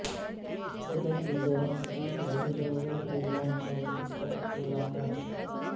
صدر ایردوان کی وزیر اعظم عمران خان کے ساتھ ملاقات